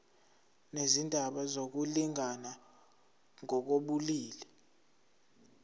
nezindaba zokulingana ngokobulili